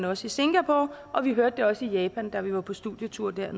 også i singapore og vi hørte det også i japan da vi var på studietur der